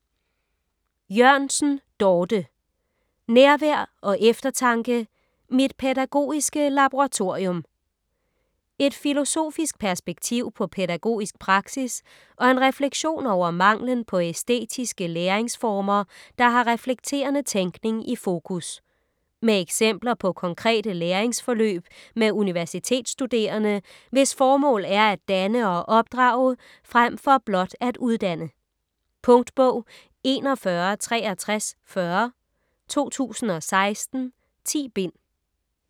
Jørgensen, Dorthe: Nærvær & eftertanke: mit pædagogiske laboratorium Et filosofisk perspektiv på pædagogisk praksis og en refleksion over manglen på æstetiske læringsformer, der har reflekterende tænkning i fokus. Med eksempler på konkrete læringsforløb med universitetsstuderende, hvis formål er at danne og opdrage frem for blot at uddanne. Punktbog 416340 2016. 10 bind.